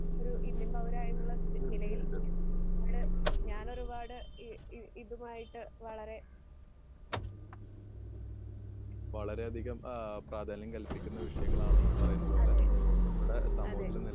ഒരു ഇന്ത്യൻ പൗരായുള്ള വി നിലയിൽ നാ പാട് ഞാനൊരുപാട് ഇ ഇ ഇതുമായിട്ട് വളരെ അതെ അതെ